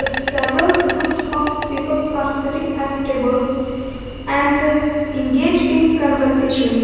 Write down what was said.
Several groups of peoples are sitting at tables and engage in conversation.